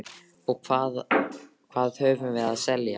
Og hvað höfum við að selja?